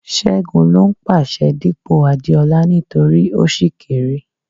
Ṣẹ́gun ló ń pàṣẹ dípò Adeola nítorí ó ṣì kéré.